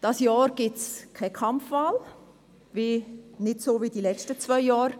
Dieses Jahr gibt es keine Kampfwahl, nicht, wie in den letzten zwei Jahren.